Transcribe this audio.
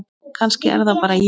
Kannski er það bara ég?